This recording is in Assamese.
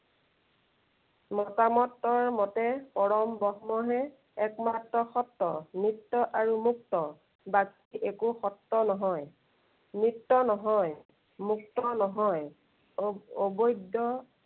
মতামতৰ মতে পৰম ব্ৰহ্মহে একমাত্ৰ স্বত্ব। নিত্য় আৰু মুক্ত। বাকী একো শক্ত নহয়। নিত্য় নহয়, মুক্ত নহয়। অবৈধ